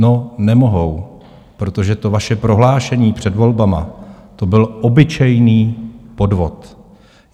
No, nemohou, protože to vaše prohlášení před volbami to byl obyčejný podvod.